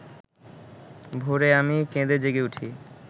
ভোরে আমি কেঁদে জেগে উঠি